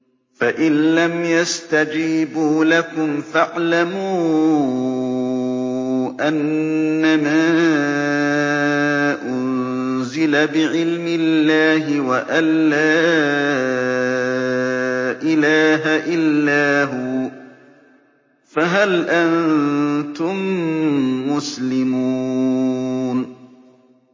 فَإِلَّمْ يَسْتَجِيبُوا لَكُمْ فَاعْلَمُوا أَنَّمَا أُنزِلَ بِعِلْمِ اللَّهِ وَأَن لَّا إِلَٰهَ إِلَّا هُوَ ۖ فَهَلْ أَنتُم مُّسْلِمُونَ